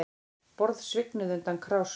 Borð svignuðu undan krásum